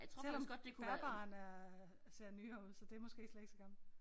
Selvom bærbaren er ser nyere ud så det måske slet ikke så gammelt